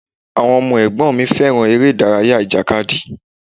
Àwọn ọmọ ẹ̀gbọ́n mi fẹ́ràn ère-ìdárayá ìjàkadì.